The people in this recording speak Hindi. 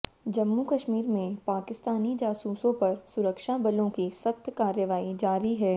जम्मू कश्मीर में पाकिस्तानी जासूसों पर सुरक्षा बलों की सख्त कार्रवाई जारी है